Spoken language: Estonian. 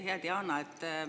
Hea Diana!